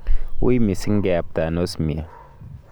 uii misiing keyapta anosmia